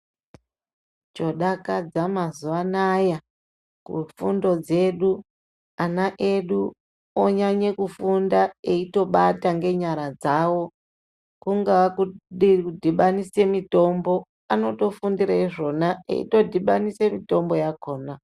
Chodakadza mazuwa anaya kufundo dzedu, ana edu onyanya kufunda eitobata ngenyara dzawo kungaa kudhibanise mitombo anotofundire izvona eitodhibanise mitombo yakhona.